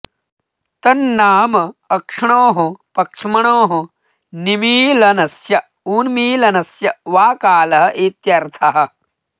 तन्नाम अक्ष्णोः पक्ष्म्नोः निमीलनस्य उन्मीलनस्य वा कालः इत्यर्थः